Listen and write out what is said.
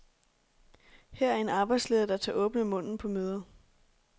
Her er en arbejdsleder, der tør åbne munden på møder.